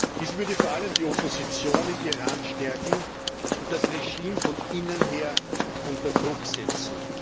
Dies würde vor allem die Opposition im Iran stärken und das Regime von innen her unter Druck setzen.